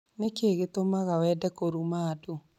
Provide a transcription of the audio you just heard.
Nĩ kĩĩ gĩtũmaga wende kũruma andũ?